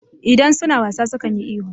Idan su na wasa sukan yi ihu.